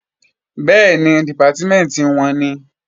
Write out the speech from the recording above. Bẹ́ẹ̀ni, Dìpátímẹ̀ntì wọn nìí